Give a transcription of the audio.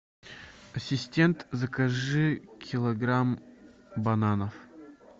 ассистент закажи килограмм бананов